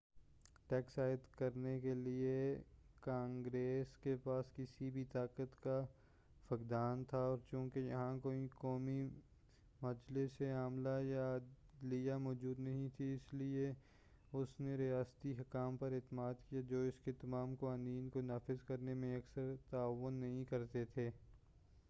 tax عائد کرنے کے لئے کانگریس کے پاس کسی بھی طاقت کا فقدان تھا اور چونکہ یہاں کوئی قومی مجلس عاملہ یا عدلیہ موجود نہیں تھی اس لئے اس نے ریاستی حکام پر اعتماد کیا جو اس کے تمام قوانین کو نافذ کرنے میں اکثر تعاون نہیں کرتے تھے